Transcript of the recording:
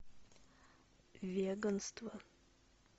веганство